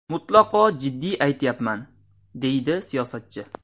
Mutlaqo jiddiy aytyapman”, deydi siyosatchi.